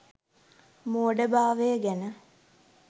මෝඩ භාවය ගැන